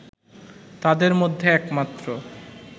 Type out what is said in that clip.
তাদের মধ্যে একমাত্র